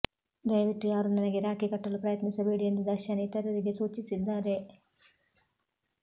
ದಯವಿಟ್ಟು ಯಾರೂ ನನಗೆ ರಾಖಿ ಕಟ್ಟಲು ಪ್ರಯತ್ನಿಸಬೇಡಿ ಎಂದು ದರ್ಶನ್ ಇತರರಿಗೆ ಸೂಚಿಸಿದ್ದಾರೆ